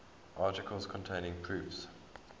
articles containing proofs